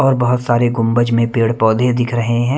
और बहुत सारे गुंबज में पेड़-पौधे दिख रहे हैं।